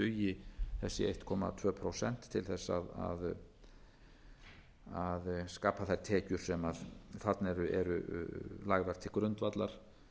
einn komma tvö prósent til þess að skapa þær tekjur sem þarna eru lagðar til grundvallar